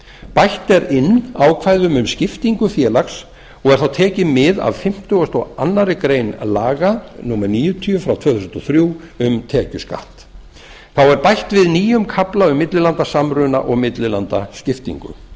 bætt er inn ákvæðum um skiptingu félags og er þá tekið mið af fimmtugasta og aðra grein laga númer níutíu tvö þúsund og þrjú um tekjuskatt þá er bætt við nýjum kafla um millilandasamruna og millilandaskiptingu